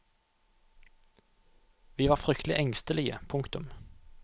Vi var fryktelig engstelige. punktum